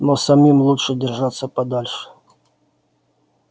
но самим лучше держаться подальше